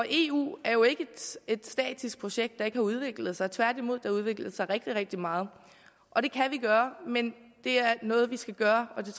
eu er jo ikke et statisk projekt der ikke har udviklet sig tværtimod det har udviklet sig rigtig rigtig meget og det kan vi gøre men det er noget vi skal gøre